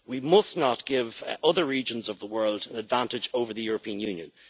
We must not give other regions of the world an advantage over the European Union.